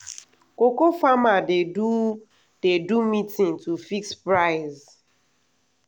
cocoa farmer dey do dey do meeting to fix price.